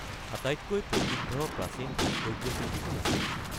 আটাইতকৈ প্ৰসিদ্ধ প্ৰাচীন ভাস্কৰ্যশিল্পী কোন আছিল?